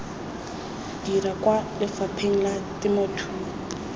dirwa kwa lefapheng la temothuo